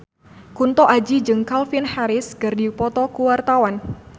Kunto Aji jeung Calvin Harris keur dipoto ku wartawan